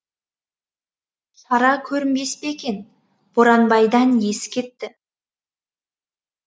шара көрінбес пе екен боранбайдан ес кетті